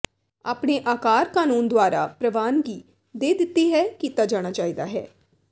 ਆਪਣੇ ਆਕਾਰ ਕਾਨੂੰਨ ਦੁਆਰਾ ਪ੍ਰਵਾਨਗੀ ਦੇ ਦਿੱਤੀ ਹੈ ਕੀਤਾ ਜਾਣਾ ਚਾਹੀਦਾ ਹੈ